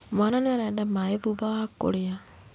Mwana nĩ arenda maĩ thutha wa kũrĩa